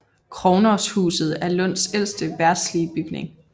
Krognoshuset er Lunds ældste verdslige bygning